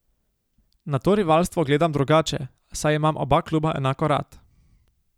Na to rivalstvo gledam drugače, saj imam oba kluba enako rad.